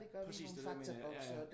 Præcis det er det jeg mener ja ja